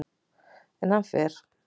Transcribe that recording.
En hann fer.